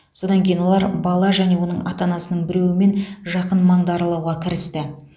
содан кейін олар бала және оның ата анасының біреуімен жақын маңды аралауға кірісті